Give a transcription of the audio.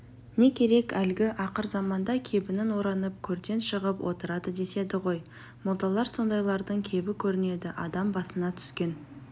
не керек әлгі ақырзаманда кебінін оранып көрден шығып отырады деседі ғой молдалар сондайлардың кебі көрінеді адам басына түскен